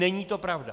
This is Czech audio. Není to pravda.